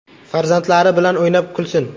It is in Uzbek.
Farzandlari bilan o‘ynab, kulsin!